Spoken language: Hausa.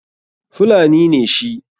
Fulani ne shi.